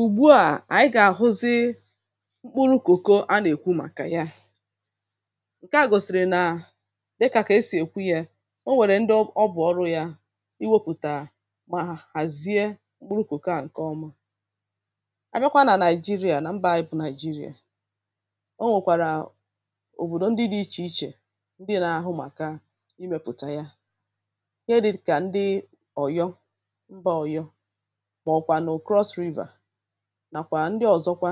ùgbu à ànyị gà-àhụzi mkpụrụ kòko a nà-èkwu màkà ya: Nke à gòsìrì nà, dikà kà esì èkwu yȧ, o nwèrè ndị ọ bụ bụ̀ọrụ yȧ iwėpùtà mà hàzie mkpụrụ kòko à ǹke ọma. à bịakwa nà Nàị̀jịrịà nà mbà anyị bụ̀ Nàị̀jịrịà, o nwèkwàrà o òbòdò ndị dị̇ ichè ichè ndị nȧ-ahụ màkà imėpùtà ya. Ndị̇ kà ndị òyo, mbà òyo mà ọ kwànu Cross River nakwa ndị ọ̀zọkwa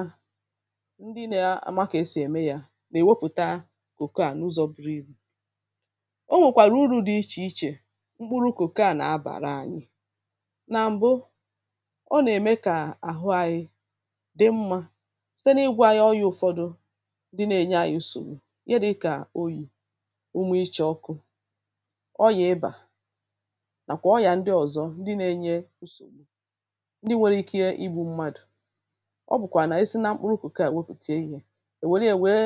ndị nȧ-ȧma ka esì ème yȧ nà-èwepụ̀ta kòkoà n’ụzọ̇ buru ibu.̇ Onwèkwàrà uru̇ dị ichè ichè mkpụrụ̇ kòkoà nà-abàra anyị,̇ nà m̀bụ, ọ nà-ème kà àhụ anyị̇ dị mmȧ site n’ịgwȧ anyị ọrịȧ ụ̇fọ̇dụ̇ ndị nȧ-ėnyė ȧnyi nsògbu. Ihe dị̇ kà oyì, umė icha ọkụ, ọrịà ịbà, nàkwà ọrị̀à ndị ọ̀zọ ndị nȧ-ėnyė nsògbu, ǹdi nwèrè ikė igbù mmadụ. ọ bụ̀kwà nà e si na mkpụrụ kòkoà wepùtè ihe è wère yȧ nwee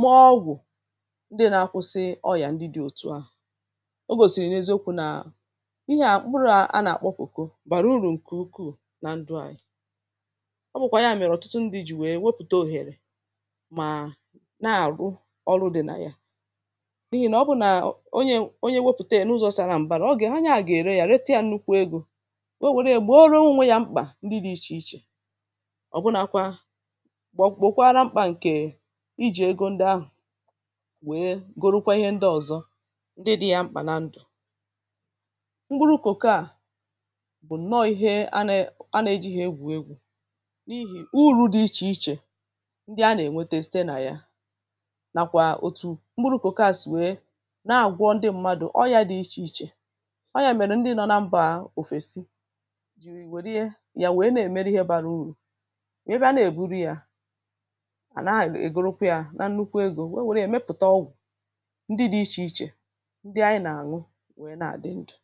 mee ọ̀gwụ̀ ndị nȧ-akwụsị ọyà ndị dị̇ òtu à. O gȯsìrì n’ eziokwu̇ nà ihe à mkpụrụ a nà-àkpọ kòkòbàrà urù ǹkè ukwuù nà ndụ̀ anyị.̇ ọ bụ̀kwà ya mèrè ọ̀tụtụ ndị̇ jì wee wepùte òhèrè mà na-àrụ ọrụ dị̀ nà ya. N'ihi nà ọ bụ̇ nà onyè onyè wepùte n’ ụzọ̇ sàrà m̀bàrà ọ gà onye ahụ gà gà-ère yȧ rete yȧ nnukwu egȯ. ọ̀nwere yà gbòrò ọnwe yà mkpa ndị di ichè ichè. Obụnȧkwa gbòkwara mkpà ǹkè i jì egȯ ndị ahụ̀ wèe gorookwa ihe ndị ọ̀zọ ndị dị̇ ya mkpà n’ndụ.̀ m̀pkurù kòkò à bụ̀ ǹnọ̇ ihe a nė a nėjighi egwù egwu̇ n’ihì uru̇ dị ichè ichè ndị a nà-ènwete site nà ya, nàkwà òtù m̀kpurù kòkò à sì wèe nà-àgwụọ ndị ṁmȧdụ̀ ọrịȧ dị̇ ichè ichè. ọ yȧ mèrù ndị nọ na mbà à òfèsi ji nwèrè yà n'emere Ihe bara uru. Wẹ bịa na-eburu ya ha na ègorokwa ya na nnukwu egȯ wee nwẹ̀rẹ̀ ẹ̀ mẹpụ̀ta ọgwụ̀ ndị dị ichè ichè ndị anyị nà-àṅụ nwẹ nà-àdị ndụ.̀